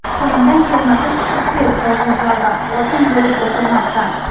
Qo‘lingdan kelmasa, chiqib ket hozir zaldan, hokim bo‘lib o‘tirmasdan!